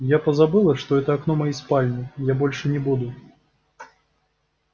я позабыла что это окно моей спальни я больше не буду